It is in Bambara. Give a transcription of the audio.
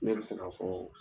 Ne bɛ se ka fɔ